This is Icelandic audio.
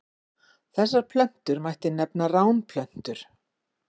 Þessar plöntur mætti nefna ránplöntur.